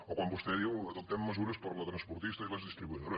o quan vostè diu adoptem mesures per a la transportista i les distribuïdores